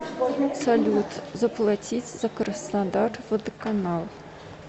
салют заплатить за краснодар водоканал